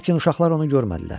Lakin uşaqlar onu görmədilər.